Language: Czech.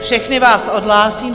Všechny vás odhlásím.